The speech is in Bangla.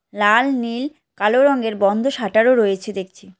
লাল নীল কালো রংয়ের বন্ধ শাটার ও রয়েছে দেখছি।